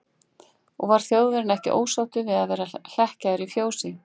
Og var Þjóðverjinn ekki ósáttur við að vera hlekkjaður í fjósi?